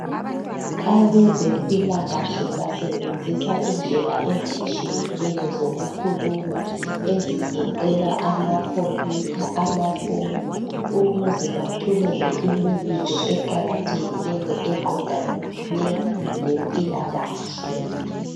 Abezempilakahle basebenzisa indlela ezitshiyeneyo zokukhuluma, ezigoqela amakhompuyutha, amafoni ukuze bathumela imibiko eqakathekileyo eqondane laempilakahle.